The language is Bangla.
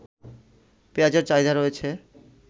পেঁয়াজের চাহিদা রয়েছে